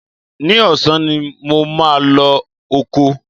Ní ọ̀sán ni mo máa lọ oko